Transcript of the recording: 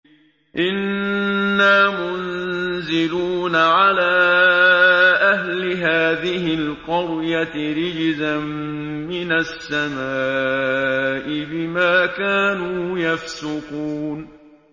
إِنَّا مُنزِلُونَ عَلَىٰ أَهْلِ هَٰذِهِ الْقَرْيَةِ رِجْزًا مِّنَ السَّمَاءِ بِمَا كَانُوا يَفْسُقُونَ